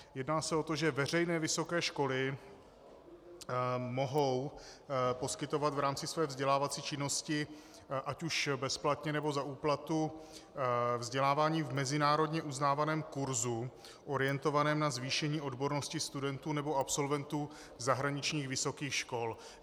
Jedná se o to, že veřejné vysoké školy mohou poskytovat v rámci své vzdělávací činnosti ať už bezplatně, nebo za úplatu vzdělávání v mezinárodně uznávaném kurzu orientovaném na zvýšení odbornosti studentů nebo absolventů zahraničních vysokých škol.